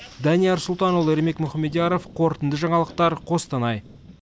данияр сұлтанұлы ермек мұхамедияров қорытынды жаңалықтар қостанай